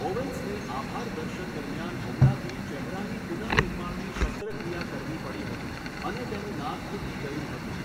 ઓવેન્સને આભાર દર્શન દરમિયાન હુમલાથી ચહેરાની પુનઃનિર્માણની શસ્ત્રક્રિયા કરવી પડી હતી અને તેનું નાક તૂટી ગયું હતું.